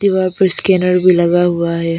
दीवार पर स्कैनर भी लगा हुआ है।